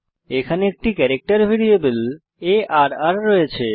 এখানে একটি character variable আর রয়েছে